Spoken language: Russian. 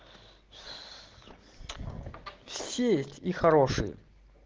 все и хорошие